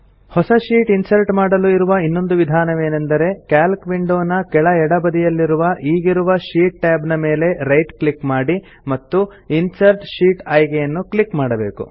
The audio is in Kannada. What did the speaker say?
ಹೊಸ ಶೀಟ್ ಇನ್ಸರ್ಟ್ ಮಾಡಲು ಇರುವ ಇನ್ನೊಂದು ವಿಧಾನವೇನೆಂದರೆ ಕ್ಯಾಲ್ಕ್ ವಿಂಡೋ ನ ಕೆಳ ಎಡ ಬದಿಯಲ್ಲಿರುವ ಈಗಿರುವ ಶೀಟ್ tab ನ ಮೇಲೆ ರೈಟ್ ಕ್ಲಿಕ್ ಮಾಡಿ ಮತ್ತು ಇನ್ಸರ್ಟ್ ಶೀಟ್ ಆಯ್ಕೆಯನ್ನು ಕ್ಲಿಕ್ ಮಾಡಬೇಕು